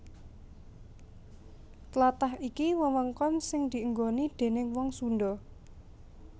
Tlatah iki wewengkon sing dienggoni déning wong Sundha